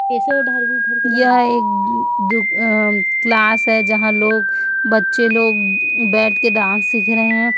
यह एक दु अ क्लास है जहां लोग बच्चे लोग बैठकर डांस सीख रहे हैं।